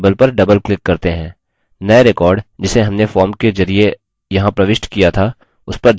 नये record जिसे हमने form के जरिये यहाँ प्रविष्ट किया था उसपर ध्यान दीजिये